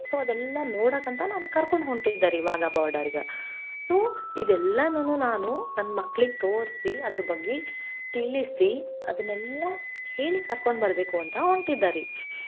So ಅದೆಲ್ಲಾ ನೋಡಕಂತ ನಾನ್ ಕರ್ಕೊಂಡ್ ಹೊಂಟಿದ್ದೇರಿ Wagah border ಗ so ಇದೆಲ್ಲಾನು ನಾನು ನನ್ ಮಕ್ಳಿಗ್ ತೋರ್ಸಿ ಅದ್ರ್ ಬಗ್ಗೆ ತಿಳಿಸಿ ಅದನ್ನೆಲ್ಲಾ ಹೇಳಿ ಕರ್ಕೊಂಡ್ ಬರ್ಬೇಕು ಅಂತ ಹೊಂಟಿದ್ದರಿ.